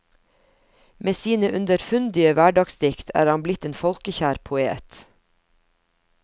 Med sine underfundige hverdagsdikt er han blitt en folkekjær poet.